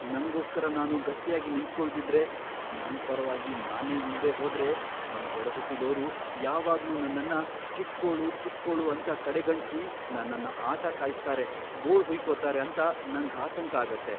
ನಂಗೋಸ್ಕರ ನಾನು ಗಟ್ಯಾಗಿ ನಿಂತ್ಕೊಳ್ದಿದ್ರೆ, ನನ್ ಪರವಾಗಿ ನಾನೇ ಇಲ್ದೇ ಹೋದ್ರೆ ನನ್ ಒಡಹುಟ್ಟಿದೋರು ಯಾವಾಗ್ಲೂ ನನ್ನನ್ನ ಚಿಕ್ಕೋಳು ಚಿಕ್ಕೋಳು ಅಂತ ಕಡೆಗಣ್ಸಿ ನನ್ನನ್ನ ಆಟ ಕಾಯಿಸ್ತಾರೆ, ಗೋಳ್ ಹುಯ್ಕೋತಾರೆ ಅಂತ ನಂಗ್ ಆತಂಕ ಆಗತ್ತೆ.